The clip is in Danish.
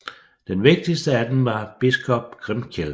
Den vigtigste af dem var biskop Grimkjell